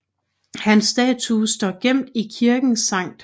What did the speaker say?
Hans statue står gemt i kirken St